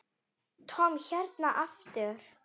Tom hérna aftur.